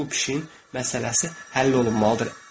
İndi bu pişiyin məsələsi həll olunmalıdı.